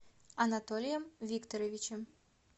анатолием викторовичем